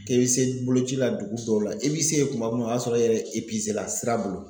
K'i bɛ se boloci la dugu dɔw la i b'i se ye tuma tuma o y'a sɔrɔ e yɛrɛ la sira bolo.